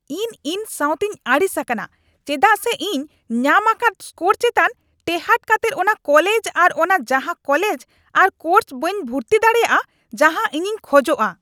ᱤᱧ ᱤᱧ ᱥᱟᱣᱛᱮᱧ ᱟᱹᱲᱤᱥ ᱟᱠᱟᱱᱟ ᱪᱮᱫᱟᱜ ᱥᱮ ᱤᱧ ᱧᱟᱢ ᱟᱠᱟᱫ ᱥᱠᱳᱨ ᱪᱮᱛᱟᱱ ᱴᱮᱸᱦᱟᱰ ᱠᱟᱛᱮᱜ ᱚᱱᱟ ᱠᱚᱞᱮᱡ ᱟᱨ ᱚᱱᱟ ᱡᱟᱦᱟᱸ ᱠᱚᱞᱮᱡ ᱟᱨ ᱠᱚᱨᱥ ᱵᱟᱹᱧ ᱵᱷᱩᱨᱛᱤᱜ ᱫᱟᱲᱮᱭᱟᱜᱼᱟ ᱡᱟᱦᱟᱸ ᱤᱧᱤᱧ ᱠᱷᱚᱡᱚᱜᱼᱟ ᱾